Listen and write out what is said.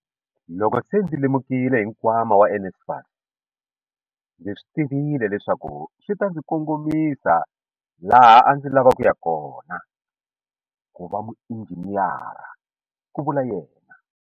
Loko se ndzi lemukile hi nkwama wa NSFAS, ndzi swi tivile leswaku swi ta ndzi kongomisa laha a ndzi lava ku ya kona, ku va muinjhiniyara, ku vula yena.